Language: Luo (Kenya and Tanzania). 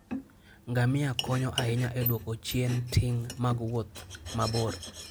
Ngamia konyo ahinya e duoko chien ting' mag wuoth mabor.